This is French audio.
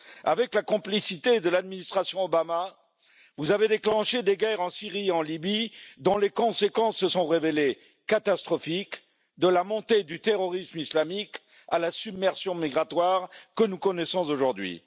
Avec la complicité de l'administration Obama, vous avez déclenché des guerres en Syrie et en Libye, dont les conséquences se sont révélées catastrophiques, de la montée du terrorisme islamique à la submersion migratoire que nous connaissances aujourd'hui.